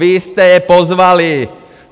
Vy jste je pozvali!